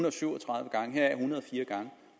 og syv og tredive gange heraf en hundrede og fire gange